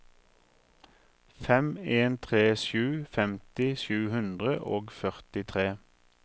fem en tre sju femti sju hundre og førtitre